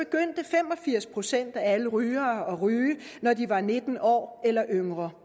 firs procent af alle rygere at ryge da de var nitten år eller yngre